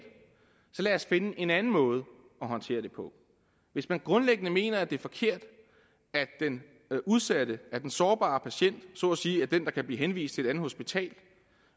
så lad os finde en anden måde at håndtere det på hvis man grundlæggende mener det er forkert at den udsatte den sårbare patient så at sige er den der kan blive henvist til et andet hospital